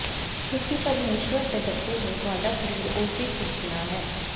ਤੁਸੀਂ ਪਰਮੇਸ਼ੁਰ ਦੇ ਬੱਚੇ ਹੋ ਤੁਹਾਡਾ ਸਰੀਰ ਉਸਦੀ ਸਿਰਜਨਾ ਹੈ